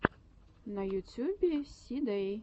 на ютюбе си дэй